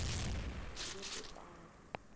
ngebhetali